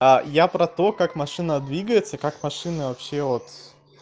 я про то как машина двигается как машина вообще от